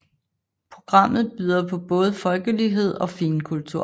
Programmet byder på både folkelighed og finkultur